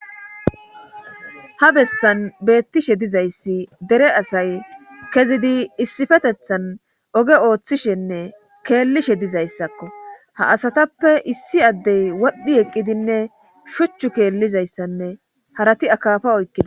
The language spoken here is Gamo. ha bessan beettishe dizayssi dere asay kezidi issifetethan oge ooththishenne keellishe dizayssakko ha asatappe issi addey wodhdhi eqqidinne shuchchu keellizayssanne harati akafa oykkida